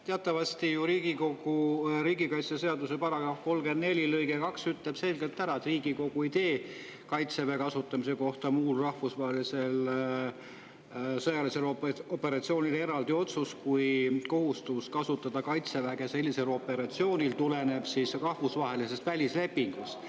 Teatavasti ütleb riigikaitseseaduse § 34 lõige 2 selgelt: "Riigikogu ei tee Kaitseväe kasutamise kohta muul rahvusvahelisel sõjalisel operatsioonil eraldi otsust, kui kohustus kasutada Kaitseväge sellisel operatsioonil tuleneb ratifitseeritud välislepingust.